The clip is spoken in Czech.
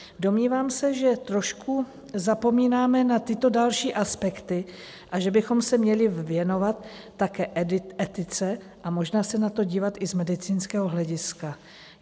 Domnívám se, že trošku zapomínáme na tyto další aspekty a že bychom se měli věnovat také etice a možná se na to dívat i z medicínského hlediska.